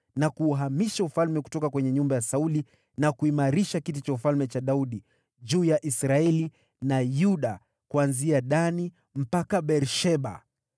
na kuuhamisha ufalme kutoka kwenye nyumba ya Sauli na kuimarisha kiti cha ufalme cha Daudi juu ya Israeli na Yuda kuanzia Dani mpaka Beer-Sheba.”